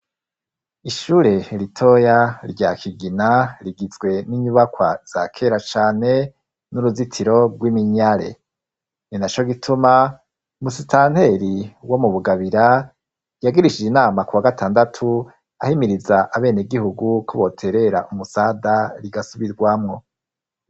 Ishure eritoya rya kigina rigizwe n'inyubakwa za kera cane n'uruzitiro rw'iminyare ni na co gituma umusitanteri wo mu bugabira yagirishije inama ku wa gatandatu ahimiriza abene gihugu kuboterera umusada rigasubirwamwo.